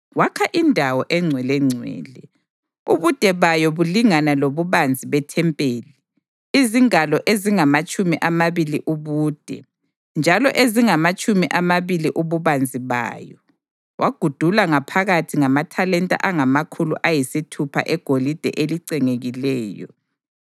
Wakha iNdawo eNgcwelengcwele, ubude bayo bulingana lobubanzi bethempeli, izingalo ezingamatshumi amabili ubude njalo ezingamatshumi amabili ububanzi bayo. Wagudula ngaphakathi ngamathalenta angamakhulu ayisithupha egolide elicengekileyo.